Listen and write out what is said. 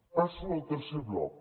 passo al tercer bloc